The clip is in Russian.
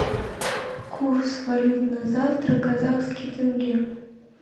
курс валют на завтра казахский тенге